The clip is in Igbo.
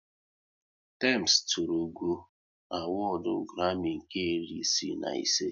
Tems tụrụ ugo n'awodu Grami nke iri isii na ise